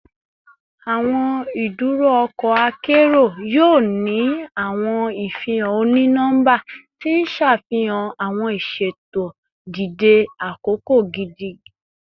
Awọn iduro ọkọ akero yoo ni awọn ifihan oni-nọmba ti n ṣafihan awọn iṣeto dide akoko gidi